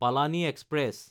Palani express